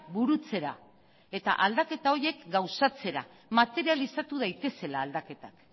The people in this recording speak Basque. burutzera eta aldaketa horiek gauzatzera materializatu daitezela aldaketak